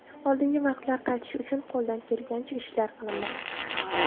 Oldingi vaqtlar qaytishi uchun qo‘ldan kelganicha ishlar qilinmoqda.